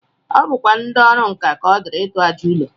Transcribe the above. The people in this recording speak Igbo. O bukwa ndị ọrụ nkà ka ọ dịịrị ịtụ àjà ụlọ